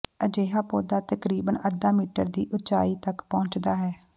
ਅਜਿਹਾ ਪੌਦਾ ਤਕਰੀਬਨ ਅੱਧਾ ਮੀਟਰ ਦੀ ਉਚਾਈ ਤੱਕ ਪਹੁੰਚਦਾ ਹੈ